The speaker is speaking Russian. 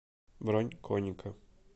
бронь коника